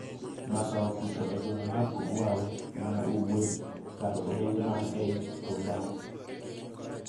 Masawa kucho e gweng' mar Kogwawe ma Ugwe kar Orenge man ei Oturbam,